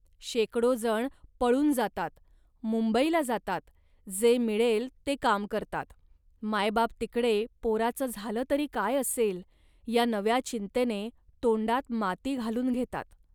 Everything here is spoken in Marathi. शेकडोजण पळून जातात, मुंबईला जातात, जे मिळेल ते काम करतात. मायबाप तिकडे पोराचं झालं तरी काय असेल या नव्या चिंतेने तोंडात माती घालून घेतात